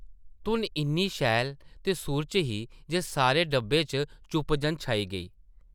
धुन इन्नी शैल ते सुर च ही जे सारे डब्बे च चुप जन छाई गेई ।